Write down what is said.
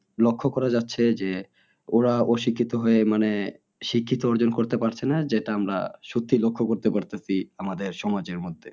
লক্ষ্য করা যাচ্ছে যে ওরা অশিক্ষিত হয়ে মানে শিক্ষিত অর্জন করতে পারছে না যেটা আমরা সত্যি লক্ষ্য করতে পারতাছি আমাদের সমাজের মধ্যে